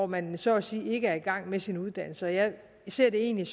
man så at sige ikke er i gang med sin uddannelse jeg ser egentlig